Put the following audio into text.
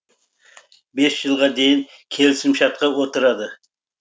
бес жылға дейін келісімшартқа отырады